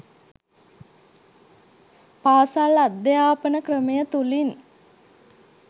පාසල් අධ්‍යාපන ක්‍රමය තුළින්